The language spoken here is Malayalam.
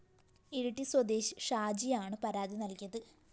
ഇരിട്ടി സ്വദേശി ഷാജിയാണ് പരാതി നല്‍കിയത്